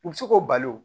U bɛ se k'o bali o